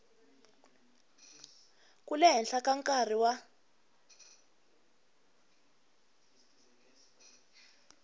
ku leha ka nkarhi wa